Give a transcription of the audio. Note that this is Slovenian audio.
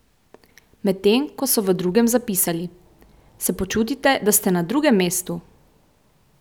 Medtem ko so v drugem zapisali: "Se počutite, da ste na drugem mestu?